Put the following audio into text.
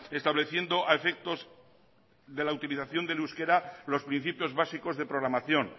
estableciendo a efectos de la utilización del euskera los principios básicos de programación